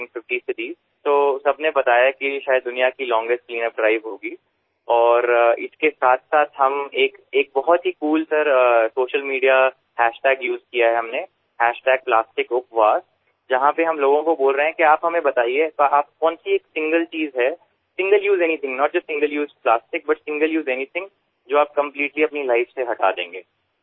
প্রত্যেকেই বলেছিল যে এটি সম্ভবত বিশ্বের দীর্ঘতম ক্লিনআপ ড্রাইভ এবং আমরা একটি দুর্দান্ত সোশিয়াল মিডিয়া হ্যাশট্যাগব্যবহারকরেছি প্লাস্টিক উপবাস যেখানে আমরা মানুষকে বলছি যে আপনারা আমাদের জানানকোনএকটা জিনিস একক ব্যবহারের কিছু কেবল একক ব্যবহারের প্লাস্টিক নয় একক ব্যবহারের কোন একটা কিছুযাআপনি আপনার জীবন থেকে চিরতরে বাদ দিয়ে দেবেন